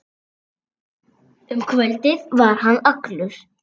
Um kvöldið var hann allur.